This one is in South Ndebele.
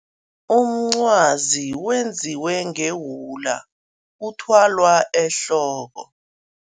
Umncwazi wenziwe ngewula, uthwalwa ehloko.